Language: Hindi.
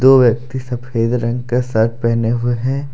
दो व्यक्ति सफेद रंग के शर्ट पहने हुए हैं।